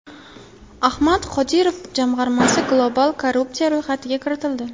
Ahmad Qodirov jamg‘armasi global korrupsiya ro‘yxatiga kiritildi.